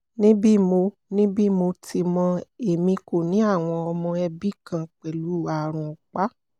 ni bi mo ni bi mo ti mọ emi ko ni awọn ọmọ ẹbi kan pẹlu aarun ọpa